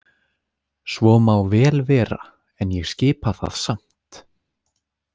Svo má vel vera en ég skipa það samt.